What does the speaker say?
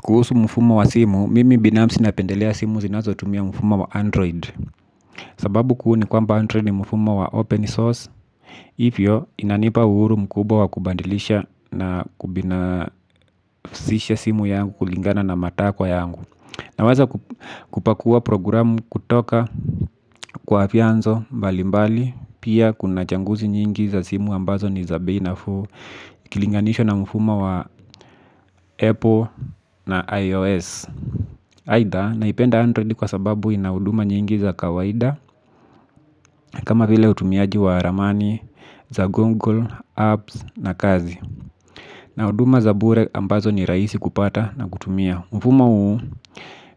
Kuhusu mfumo wa simu, mimi binafsi napendelea simu zinazo tumia mfumo wa android. Sababu kuu ni kwamba android ni mfumo wa open source, hivyo inanipa uhuru mkubwa wa kubadilisha na kubinafsisha simu yangu kulingana na matakwa yangu. Na waza kupakua programu kutoka kwa vianzo mbali mbali, pia kuna changuzi nyingi za simu ambazo ni za bei nafuu, kilinganishwa na mfuma wa apple na ios. Haidha naipenda android kwa sababu inahuduma nyingi za kawaida kama vile utumiaji wa ramani za google, apps na kazi. Na huduma za bure ambazo ni rahisi kupata na kutumia. Mfumo huu